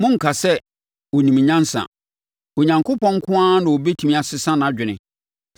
Monnka sɛ, ‘Ɔnim nyansa; Onyankopɔn nko ara na ɔbɛtumi asesa nʼadwene.’